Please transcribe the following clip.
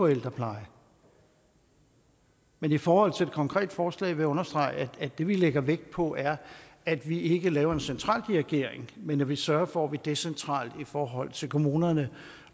ældreplejen men i forhold til det konkrete forslag vil jeg understrege at det vi lægger vægt på er at vi ikke laver en centraldirigering men at vi sørger for at vi decentralt i forhold til kommunerne